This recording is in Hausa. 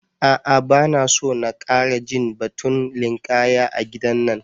A'a bana so na ƙara jin batun linƙaya a gidan nan.